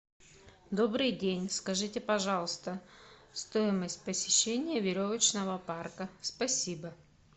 добрый день скажите пожалуйста стоимость посещения веревочного парка спасибо